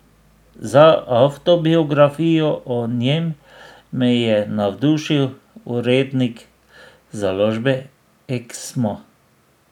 Za avtobiografijo o njem me je navdušil urednik založbe Eksmo.